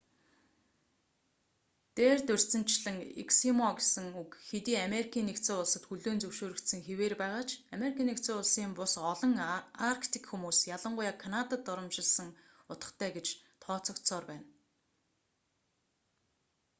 дээр дурдсанчлан эскимо гэсэн үг хэдий америкийн нэгдсэн улсад хүлээн зөвшөөрөгдсөн хэвээр байгаа ч ану-ын бус олон арктик хүмүүс ялангуяа канадад доромжилсон утгатай гэж тооцогдсоор байна